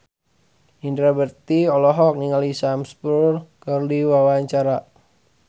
Indra Bekti olohok ningali Sam Spruell keur diwawancara